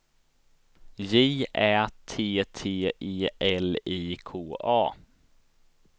J Ä T T E L I K A